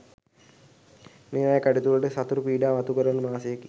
මේවායේ කටයුතුවලට සතුරු පීඩා මතු කරන මාසයකි.